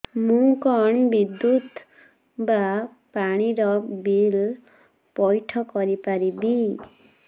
ମୁ କଣ ବିଦ୍ୟୁତ ବା ପାଣି ର ବିଲ ପଇଠ କରି ପାରିବି